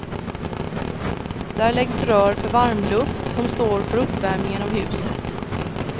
Där läggs rör för varmluft som står för uppvärmningen av huset.